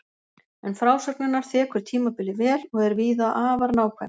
En frásögn hennar þekur tímabilið vel og er víða afar nákvæm.